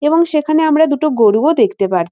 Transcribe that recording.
এবং সেখানে আমরা দুটো গরুও দেখতে পার--